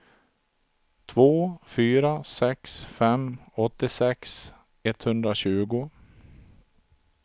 två fyra sex fem åttiosex etthundratjugo